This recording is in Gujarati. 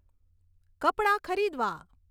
કપડાં ખરીદવા